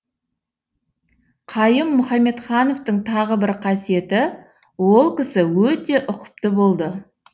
қайым мұхамедхановтың тағы бір қасиеті ол кісі өте ұқыпты болды